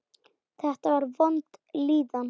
Þetta var vond líðan.